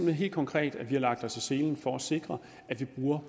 har helt konkret lagt os i selen for at sikre at vi bruger